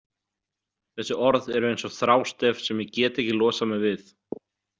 Þessi orð eru eins og þrástef sem ég get ekki losað mig við.